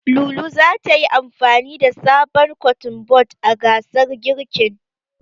Lulu zata yi amfani da sabon Kotun bod a gasar girkin.